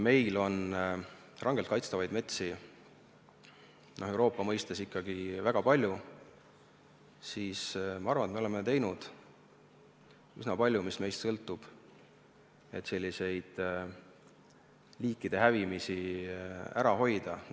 Meil on rangelt kaitstavaid metsi Euroopa mõistes ikkagi väga palju ja ma arvan, et oleme teinud üsna palju endast sõltuvat, et liikide hävimist ära hoida.